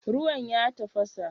Ruwan ya tafasa?